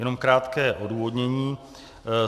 Jenom krátké odůvodnění.